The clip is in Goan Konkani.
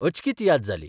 अचकीत याद जाली.